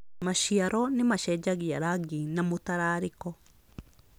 Maciaro nĩ macenjagia rangi na mũtararĩko